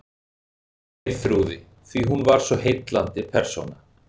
Geirþrúði, því hún var svo heillandi persóna.